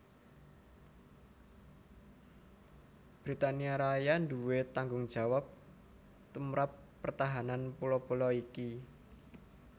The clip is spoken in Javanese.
Britania Raya nduwé tanggungjawab tumrap pertahanan pulo pulo iki